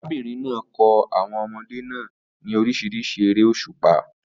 Arábìnrin náà kọ́ àwọn ọmọdé náà ní oríṣiríṣi eré òṣùpá